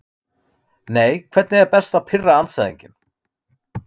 nei Hvernig er best að pirra andstæðinginn?